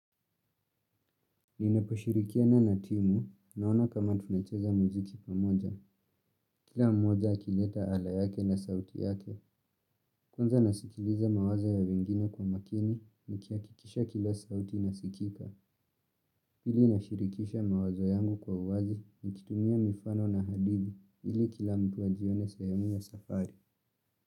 Ninaposhirikiana na timu naona kama tunacheza muziki pamoja. Kila mmoja akileta ala yake na sauti yake. Kwanza nasikiliza mawazo ya wengine kwa makini nikihakikisha kila sauti inasikika. Ili nashirikisha mawazo yangu kwa uwazi nikitumia mifano na hadithi ili kila mtu ajione sehemu ya safari.